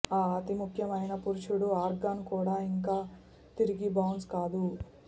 ఆ అతి ముఖ్యమైన పురుషుడు ఆర్గాన్ కూడా ఇంకా తిరిగి బౌన్స్ కాదు